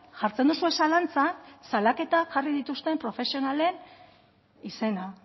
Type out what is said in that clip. jartzen duzue zalantzan salaketak jarri dituzten profesionalen izena